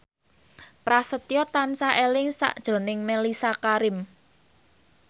Prasetyo tansah eling sakjroning Mellisa Karim